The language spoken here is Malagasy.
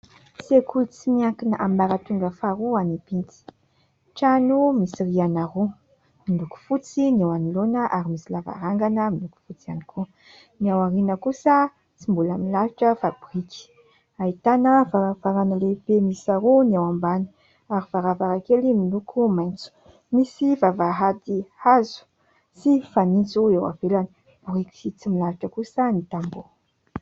Sekoly tsy miankina ambaratongra faharoa any Ibity. Trano misy rihana roa. Miloko fotsy ny ao anoloana ary misy lavarangana miloko fotsy ihany koa; ny ao aoriana kosa tsy mbola milalotra fa biriky. Ahitana varavarana lehibe mihisa roa ny ao ambany, ary varavarankely miloko maitso. Misy vavahady hazo sy fanitso eo avelany. Biriky sy tsy milalotra kosa ny tamboho.